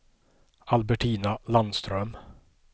Albertina Landström